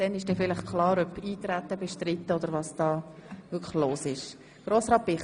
Danach wird vielleicht klar, ob das Eintreten bestritten ist oder nicht.